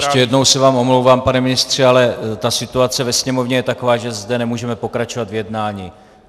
Ještě jednou se vám omlouvám, pane ministře, ale ta situace ve sněmovně je taková, že zde nemůžeme pokračovat v jednání.